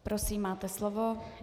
Prosím, máte slovo.